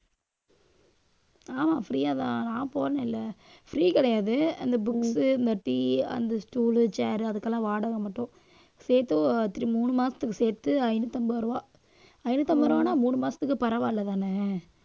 ஆமா free யா தான் நான் போனேன்ல free கிடையாது அந்த books இந்த tea அந்த stool, chair அதுக்கெல்லாம் வாடகை மட்டும். சேர்த்து அஹ் மூணு மாசத்துக்கு சேர்த்து, ஐநூத்து ஐம்பது ரூபாய் ஐந்நூத்தி ஐம்பது ரூபாய்ன்னா மூணு மாசத்துக்கு பரவாயில்லைதானே